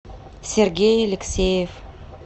сергей алексеев